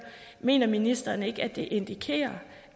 mener ministeren ikke at det indikerer